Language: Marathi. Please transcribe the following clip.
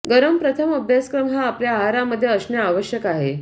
गरम प्रथम अभ्यासक्रम हा आपल्या आहारामध्ये असणे आवश्यक आहे